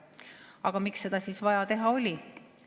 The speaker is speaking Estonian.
Aga miks seda oli vaja teha?